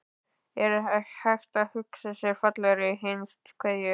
Er hægt að hugsa sér fallegri hinstu kveðju?